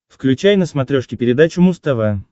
включай на смотрешке передачу муз тв